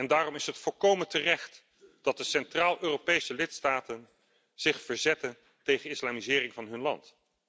Daarom is het volkomen terecht dat de Centraal Europese lidstaten zich verzetten tegen islamisering van hun land.